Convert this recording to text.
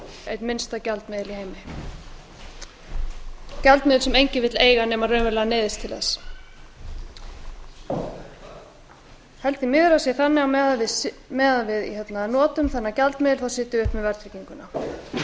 einn minnsta gjaldmiðil í heimi gjaldmiðil sem enginn vill eiga nema hann raunverulega neyðist til þess ég held því miður að það sé þannig að á meðan við notum þennan gjaldmiðil sitjum við uppi með verðtrygginguna nú vona ég að